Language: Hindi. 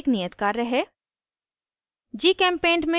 यहाँ आपके लिए एक नियत कार्य है